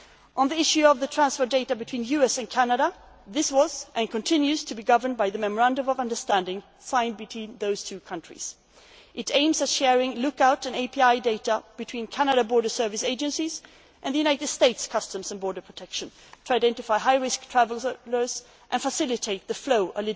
of the negotiations. On the issue of the transfer of data between the US and Canada, this was, and continues to be, governed by the memorandum of understanding signed between those two countries. Its purpose is the sharing of look out' and advance passenger information data between Canadian border service agencies and the United States Customs and Border Protection to identify high risk travellers